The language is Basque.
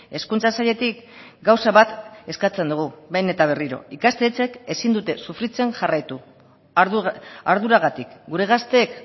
hezkuntza sailetik gauza bat eskatzen dugu behin eta berriro ikastetxeek ezin dute sufritzen jarraitu arduragatik gure gazteek